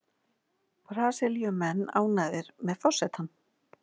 Brasilíumenn ánægðir með forsetann